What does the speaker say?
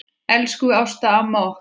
Elsku Ásta amma okkar.